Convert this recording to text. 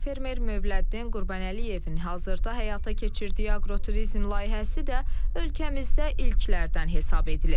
Fermer Mövləddin Qurbanəliyevin hazırda həyata keçirdiyi aqroturizm layihəsi də ölkəmizdə ilklərdən hesab edilir.